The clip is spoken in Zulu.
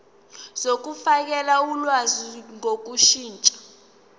zokufakela ulwazi ngokushintsha